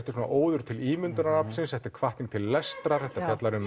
óður til ímyndunaraflsins þetta er hvatning til lestrar þetta fjallar um